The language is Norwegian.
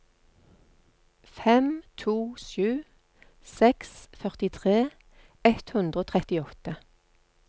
fem to sju seks førtitre ett hundre og trettiåtte